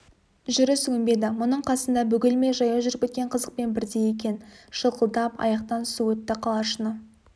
жүріс өнбеді мұның қасында бөгелмей жаяу жүріп кеткен қызықпен бірдей екен шылқылдап аяқтан су өтті қалашыны